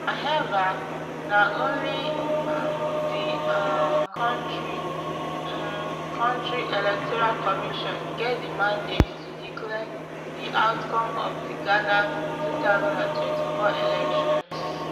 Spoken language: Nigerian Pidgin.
however na only m di um kontri um kontri electoral commission get di mandate to declare di outcome of di ghana two thousand and twenty-four elections